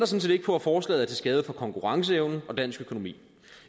set ikke på at forslaget er til skade for konkurrenceevnen og dansk økonomi